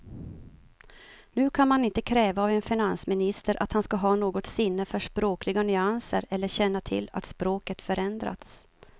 Nu kan man inte kräva av en finansminister att han ska ha något sinne för språkliga nyanser eller känna till att språket förändrats.